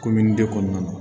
kɔnɔna na